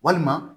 Walima